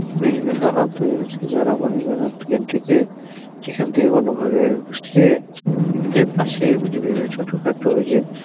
এইখানে দালাল তো এবার হচ্ছে যারা মনে করেন এখান থেকে, এখান থেকে কোন ভাবে এখান থেকে পাশে ছোটখাটো যে